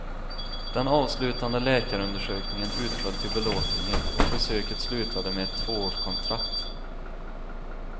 Den avslutande läkarundersökningen utföll till belåtenhet och besöket slutade med ett tvåårskontrakt.